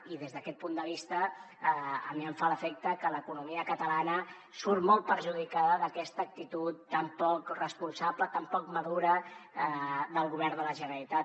i des d’aquest punt de vista a mi em fa l’efecte que l’economia catalana surt molt perjudicada d’aquesta actitud tan poc responsable tan poc madura del govern de la generalitat